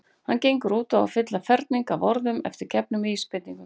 Hann gengur út á að fylla ferning af orðum eftir gefnum vísbendingum.